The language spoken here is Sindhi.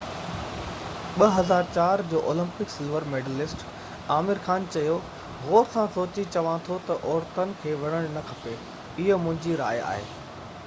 2004 جو Olympic silver medallist Aamir Khan چيو غور سان سوچي چوان ٿو ته عورتن کي وڙهڻ نه کپي اهو منهنجي راءِ آهي